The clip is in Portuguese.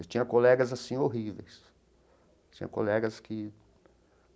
Eu tinha colegas assim horríveis, tinha colegas que.